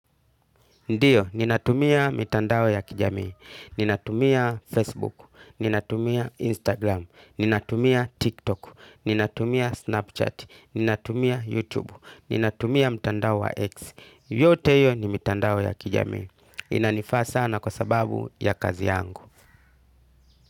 Ndiyo, ninatumia mitandao ya kijamii, ninatumia Facebook, ninatumia Instagram, ninatumia TikTok, ninatumia Snapchat, ninatumia YouTube, ninatumia mtandao wa X. Yote hiyo ni mitandao ya kijamii. Inanifaa sana kwa sababu ya kazi yangu.